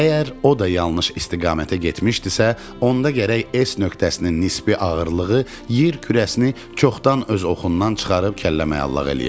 Əgər o da yanlış istiqamətə getmişdisə, onda gərək S nöqtəsinin nisbi ağırlığı yer kürəsini çoxdan öz oxundan çıxarıb kəlləməqalax eləyəydi.